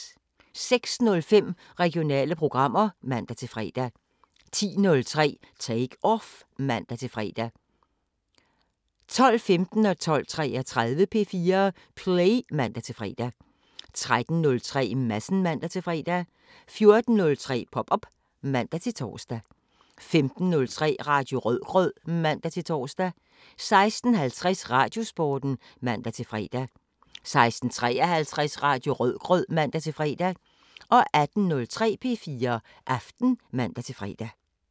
06:05: Regionale programmer (man-fre) 10:03: Take Off (man-fre) 12:15: P4 Play (man-fre) 12:33: P4 Play (man-fre) 13:03: Madsen (man-fre) 14:03: Pop op (man-tor) 15:03: Radio Rødgrød (man-tor) 16:50: Radiosporten (man-fre) 16:53: Radio Rødgrød (man-fre) 18:03: P4 Aften (man-fre)